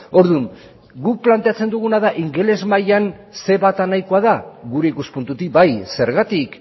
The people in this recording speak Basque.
orduan guk planteatzen duguna da ingeles mailan ce bat nahikoa da gure ikuspuntutik bai zergatik